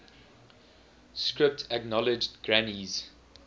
script acknowledged granny's